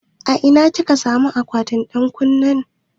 A ina kika samun akwatin ɗan ƙunne na?